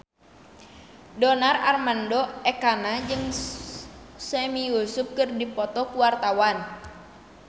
Donar Armando Ekana jeung Sami Yusuf keur dipoto ku wartawan